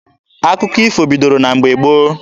Akụkọ ifo bidoro na mgbe gboo.